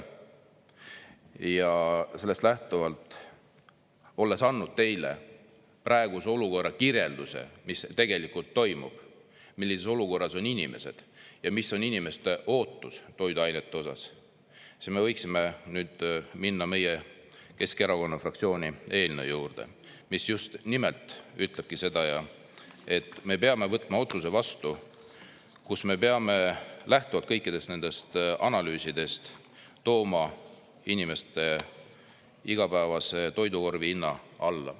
Ja sellest lähtuvalt, olles andnud teile praeguse olukorra kirjelduse, mis tegelikult toimub, millises olukorras on inimesed ja mis on inimeste ootus toiduainete osas, me võiksime nüüd minna meie, Keskerakonna fraktsiooni eelnõu juurde, mis just nimelt ütlebki seda, et me peame võtma otsuse vastu, kus me peame lähtuvalt kõikidest nendest analüüsidest tooma inimeste igapäevase toidukorvi hinna alla.